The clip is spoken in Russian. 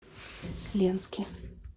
ленске